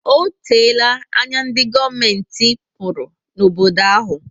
O teela anya ndi govumenti pụrụ na obodo ahu